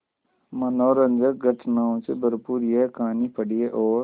मनोरंजक घटनाओं से भरपूर यह कहानी पढ़िए और